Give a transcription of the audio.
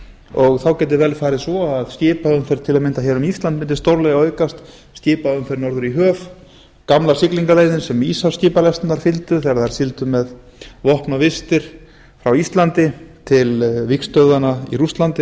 og þá gæti vel farið svo að skipaumferð til að mynda hér um ísland mundi stórlega aukast skipaumferð norður í höf gamla siglingarleiðin sem íshafskipalestirnar fylgdu þegar þær sigldu með vopn og vistir frá íslandi til vígstöðvanna í rússlandi